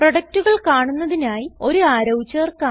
പ്രൊഡക്റ്റുകൾ കാണുന്നതിനായി ഒരു അറോ ചേർക്കാം